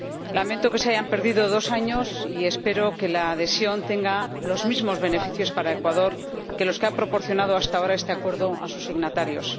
Lamento que se hayan perdido dos años y espero que la adhesión tenga los mismos beneficios para Ecuador que los que ha proporcionado hasta ahora este Acuerdo a sus signatarios.